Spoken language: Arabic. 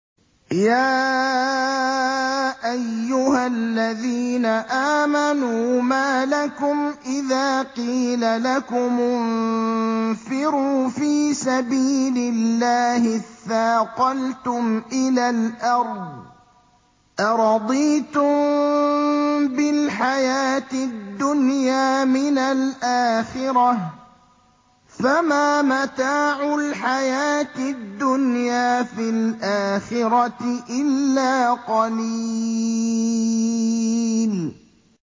يَا أَيُّهَا الَّذِينَ آمَنُوا مَا لَكُمْ إِذَا قِيلَ لَكُمُ انفِرُوا فِي سَبِيلِ اللَّهِ اثَّاقَلْتُمْ إِلَى الْأَرْضِ ۚ أَرَضِيتُم بِالْحَيَاةِ الدُّنْيَا مِنَ الْآخِرَةِ ۚ فَمَا مَتَاعُ الْحَيَاةِ الدُّنْيَا فِي الْآخِرَةِ إِلَّا قَلِيلٌ